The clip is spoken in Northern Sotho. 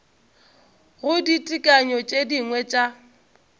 go ditekanyo tše dingwe tša